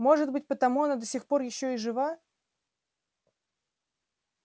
может быть потому она до сих пор ещё и жива